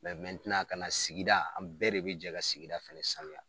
kana sigida, an bɛɛ de be jɛ ka sigida fɛnɛ sanuya.